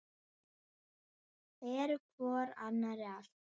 Eru hvor annarri allt.